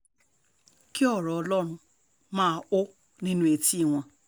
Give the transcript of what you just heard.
kí ọ̀rọ̀ ọlọ́run máa hó nínú etí wọn